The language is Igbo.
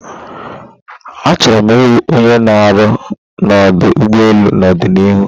Achoro m iwu onye na aru na odu elu n'ọdịnihu